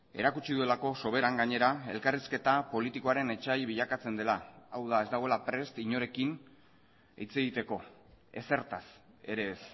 erakutsi duelako soberan gainera elkarrizketa politikoaren etsai bilakatzen dela hau da ez dagoela prest inorekin hitz egiteko ezertaz ere ez